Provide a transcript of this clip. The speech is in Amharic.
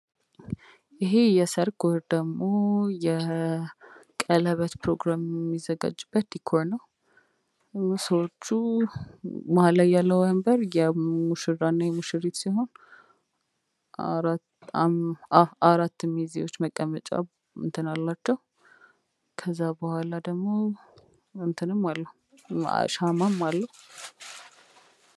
ይሄ የሰርግ ወይም ደግሞ ቀለበት ፕሮግራም የሚዘጋጅበት ዲኮር ነዉ። ሰዎቹ መሀል ላይ ያለዉ ወንበር የሙሽራ እና የሙሽሪት ሲሆን አራት ሚዜዎች መቀመጫ ከዛ በኋላ ደግሞ ሻማም አለዉ።